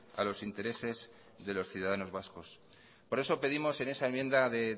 a los intereses de los ciudadanos vascos por eso pedimos en esa enmienda de